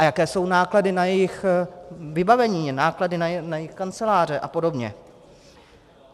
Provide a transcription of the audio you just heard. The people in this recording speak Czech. A jaké jsou náklady na jejich vybavení, náklady na jejich kanceláře a podobně.